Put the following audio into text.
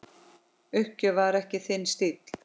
Uppgjöf var ekki þinn stíll.